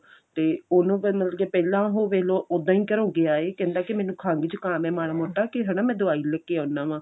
ਤੇ ਉਹਨੂੰ ਫਿਰ ਮਤਲਬ ਕੀ ਪਹਿਲਾਂ ਉਹ ਵੇਖਲੋ ਉੱਦਾਂ ਹੀ ਘਰੋਂ ਗਿਆ ਏ ਕਹਿੰਦਾ ਕੀ ਮੈਨੂੰ ਖੰਘ ਜੁਕਾਮ ਏ ਮਾੜਾ ਮੋਟਾ ਕੀ ਹਨਾ ਮੈ ਦਵਾਈ ਲੈਕੇ ਆਉਣਾ ਵਾ